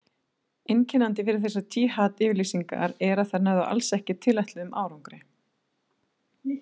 Einkennandi við þessar jihad-yfirlýsingar er að þær náðu alls ekki tilætluðum árangri.